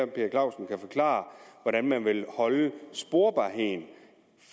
per clausen kan forklare hvordan man vil holde sporbarheden